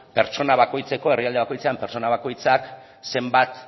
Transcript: pertsona bakoitzeko herrialde bakoitzean pertsona bakoitzak zenbat